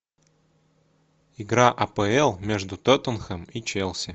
игра апл между тоттенхэм и челси